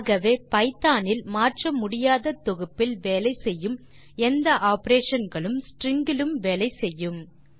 ஆகவே பைத்தோன் இல் மாற்ற முடியாத தொகுப்பில் வேலை செய்யும் எந்த ஆப்பரேஷன் களும் ஸ்ட்ரிங் களிலும் வேலை செய்யும்